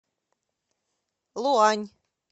луань